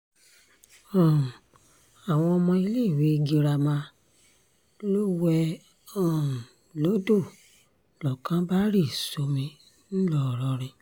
um àwọn ọmọ iléèwé girama lọ̀ọ́ wé um lọ́dọ̀ lọ́kàn bá rì sómi ńlọrọrin